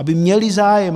Aby měli zájem.